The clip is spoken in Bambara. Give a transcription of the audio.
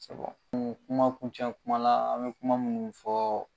kuma kuncɛ kuma la an mɛ kuma munnu fɔ